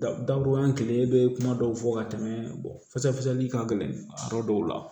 Dabɔ an kelen bɛ kuma dɔw fɔ ka tɛmɛ ka gɛlɛn yɔrɔ dɔw la